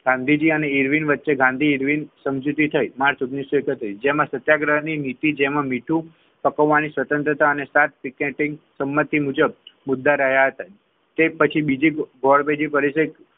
ગાંધીજી અને ઇરવિન વચ્ચે ગાંધી ઇરવિન સમજૂતી થઈ. માર્ચ ઓગણીસો એકત્રીસ જેમાં સત્યાગ્રહની નીતિ જેમાં મીઠું પકવવાની સ્વતંત્રતા અને સંમતિ મુજબ મુદ્દા રહ્યા હતા તે પછી બીજી ગોળમેજી પરિષદ,